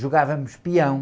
Jogávamos peão.